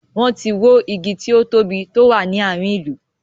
Wọn tí wó igi tí ó tóbi tó wà ní àárín ìlú.